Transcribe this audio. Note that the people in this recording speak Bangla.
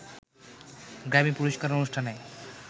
গ্র্যামী পুরস্কার অনুষ্ঠানে